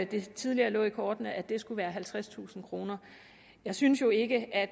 det tidligere lå i kortene at den skulle være halvtredstusind kroner jeg synes jo ikke at